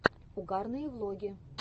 угарные влоги